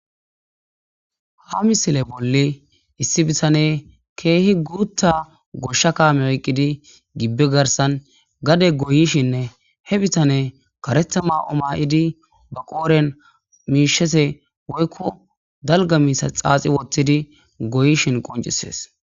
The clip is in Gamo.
ha misile bolli issi bisane keehi guutta goshsha kaame oyqqidi gibbe garsan gade goyishinne he bitane kareta ma7o maa7idi ba qooren miishese woykko dalga miisa xaaxi wottidi goyishin qoncisees